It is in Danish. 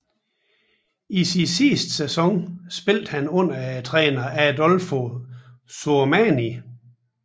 I sin sidste sæson spillede han under træner Adolfo Sormani